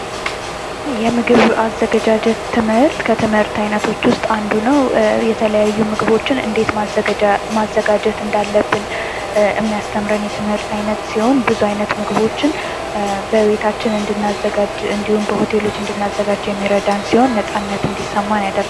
የምግብ አዘገጃጀት ትምህርት ከትምህርት አይነቶች ውስጥ አንዱ ነው። የተለያዩ ምግቦችን እንዴት ማዘጋጀት እንዳለብን የሚያስተምረን የትምህርት አይነት ሲሆን ብዙ አይነት ምግቦችን በቤታችን እንድናዘጋጅ እንዲሁም በሆቴሎች እንድናዘጋጅ የሚረዳን ሲሆን፤ ነጻነት እንዲሰማን ያደርገናል።